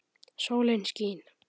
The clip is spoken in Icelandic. Sólin skín.